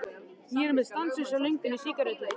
Ég er með stanslausa löngun í sígarettur.